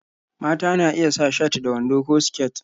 Mata na iya sa shat da wando ko siket